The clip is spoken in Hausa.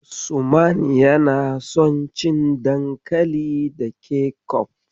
Usman yana son cin dankali da kecof.